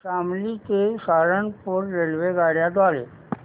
शामली ते सहारनपुर रेल्वेगाड्यां द्वारे